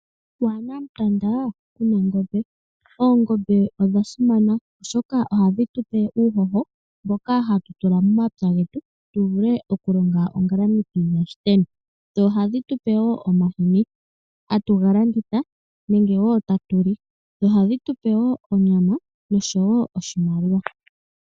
Waana mutanda kuna ngombe. Oongombe odha simana oshoka ohadhi tu pe uuhoho mboka hatu tula momapya getu, tu vule okulonga ongalamithi yashiteni. Dho ohadhi tupe wo omahini, hatu ga landitha nenge wo ta tu li. Dho ohadhi tupe wo onyama noshowo oshimaliwa.